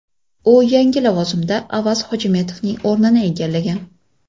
U yangi lavozimda Avaz Hojimetovning o‘rnini egallagan.